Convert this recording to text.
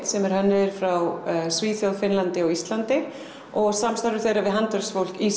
sem eru hönnuðir frá Svíþjóð Finnlandi og Íslandi og samstarfi þeirra við handverksfólk í